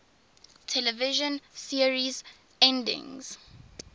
television series endings